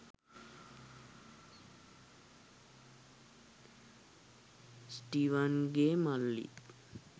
ස්ටීවන්ගේ මල්ලිත්